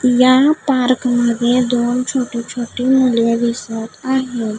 या पार्क मध्ये दोन छोटी छोटी मुले दिसत आहेत.